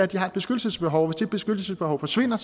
de har et beskyttelsesbehov og det beskyttelsesbehov forsvinder